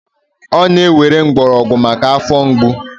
ọ na-ewere mgbọrọgwụ maka afọ mgbu